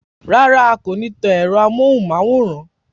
Rárá, a kò ní tan ẹ̀rọ ámóhúnmáwórán